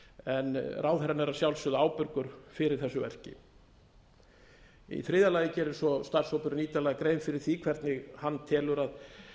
en ráðherrann er að sjálfsögðu ábyrgur fyrir þessu verki í þriðja lagi gerir svo starfshópurinn ítarlega grein fyrir því hvernig hana telur að